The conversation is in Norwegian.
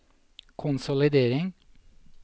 konsolidering